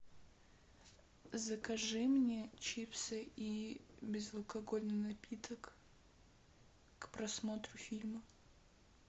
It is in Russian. закажи мне чипсы и безалкогольный напиток к просмотру фильма